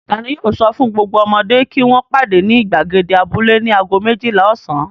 Ta ni yóò sọ fún gbogbo ọmọdé kí wọ́n pàdé ní ìgbàgede abúlé ní ago méjìlá ọ̀sán?